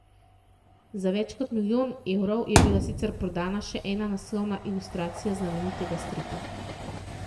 Za več kot milijon evrov je bila sicer prodana še ena naslovna ilustracija znamenitega stripa.